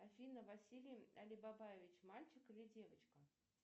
афина василий алибабаевич мальчик или девочка